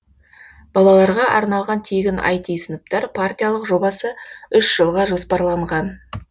балаларға арналған тегін іт сыныптар партиялық жобасы үш жылға жоспарланған